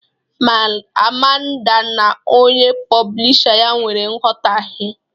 Amanda na onye poblisha ya nwere nghọtahe